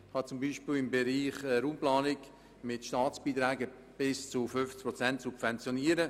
Im Bereich der Raumplanung ist beispielsweise eine Subventionierung mit Staatsbeiträgen von bis zu 50 Prozent möglich.